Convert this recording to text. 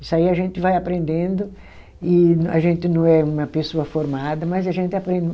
Isso aí a gente vai aprendendo e a gente não é uma pessoa formada, mas a gente aprende.